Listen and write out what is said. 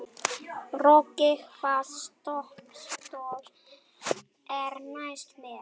Röggi, hvaða stoppistöð er næst mér?